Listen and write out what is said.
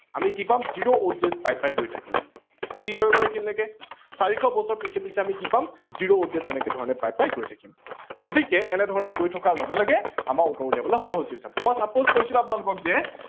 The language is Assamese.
আমি কি পাম zero odd days পাই পাই গৈ থাকিম clear হৈ গল এইখিনি লেকে ।চাৰিশ বছৰ পিছে পিছে আমি কি পাম zero odd days এনেকে ধৰনে পাই পাই গৈ থাকিম গতিকে এনে ধৰনে গৈ থকাৰ লগে লগে আমাৰ উত্তৰ উলিয়াবলৈ সহজ হৈ যাব। মই suppose কৈছিলো আপোনালোকক যে